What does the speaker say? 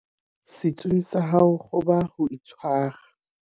setsung tsa hao qoba ho itshwara